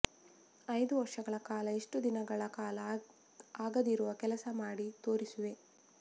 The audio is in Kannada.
ಐದು ವರ್ಷಗಳ ಕಾಲ ಇಷ್ಟು ದಿನಗಳ ಕಾಲ ಆಗದಿರುವ ಕೆಲಸ ಮಾಡಿ ತೋರಿಸುವೆ